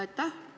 Aitäh!